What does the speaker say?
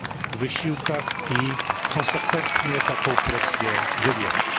w wysiłkach i konsekwentnie taką presję wywierać.